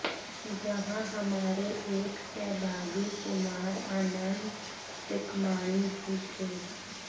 जहां हमारे एक सहभागी कुमार आनंद टिकमाणी भी थे